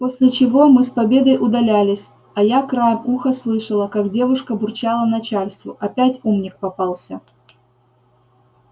после чего мы с победой удалялись а я краем уха слышала как девушка бурчала начальству опять умник попался